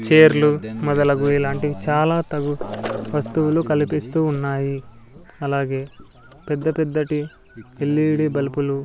చేర్లు మొదలగు ఇలాంటివి చాలా తగు వస్తువులు కలిపిస్తూ ఉన్నాయీ అలాగే పెద్దపెద్దటి ఎల్_ఈ_డి బల్పులు --